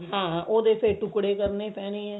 ਹਾਂ ਉਹਦੇ ਫ਼ੇਰ ਟੁਕੜੇ ਕਰਨੇ ਪੈਣਗੇ